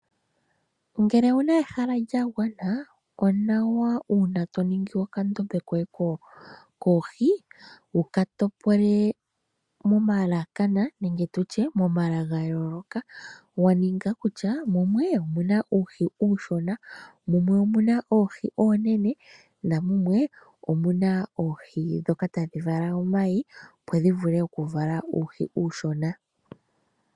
Ngele owuna ehala lyagwana onawa uuna toningi okandombe koye koohi wukatopole momala ga yooloka, waninga kutya mumwe omuna uuhi uushona, mumwe omuna oohi oonene na mumwe omuna oohi dhoka tadhivala omayi opo dhivule okuvala uuhi uushona.